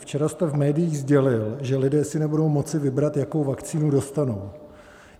Včera jste v médiích sdělil, že lidé si nebudou moci vybrat, jakou vakcínu dostanou.